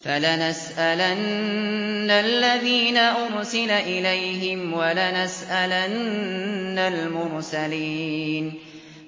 فَلَنَسْأَلَنَّ الَّذِينَ أُرْسِلَ إِلَيْهِمْ وَلَنَسْأَلَنَّ الْمُرْسَلِينَ